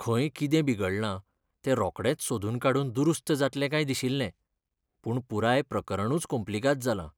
खंय कितें बिगडलां तें रोखडेंच सोदून काडून दुरुस्त जातलें काय दिशिल्लें. पूण पुराय प्रकरणूच कोम्प्लिगाद जालां,